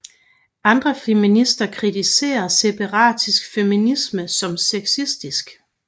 Andre feminister kritiserer separatistisk feminisme som sexistisk